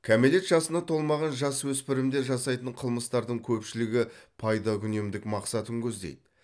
кәмелет жасына толмаған жасөспірімдер жасайтын қылмыстардың көпшілігі пайдакүнемдік мақсатын көздейді